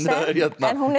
en hún er